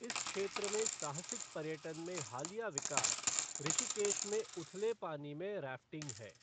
इस क्षेत्र में साहसिक पर्यटन में हालिया विकास ऋषिकेश में उथले पानी में रैफ़्टिंग है।